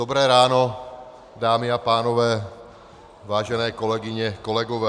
Dobré ráno, dámy a pánové, vážené kolegyně, kolegové.